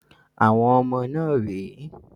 Àwọn ọmọ náà rè é.